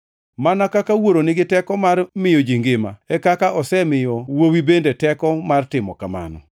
Mana kaka Wuoro nigi teko mar miyo ji ngima, e kaka osemiyo Wuowi bende teko mar timo kamano.